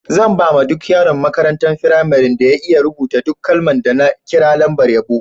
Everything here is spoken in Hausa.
Zan ba ma duk yaron makarantan firamarin da ya iya rubuta duk kalman da na kira lambar yabo.